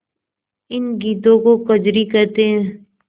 इन गीतों को कजरी कहते हैं